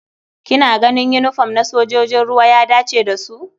Kina ganin yinifom na sojojin ruwa ya dace da su?